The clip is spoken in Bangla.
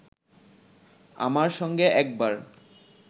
আমার সঙ্গে একবার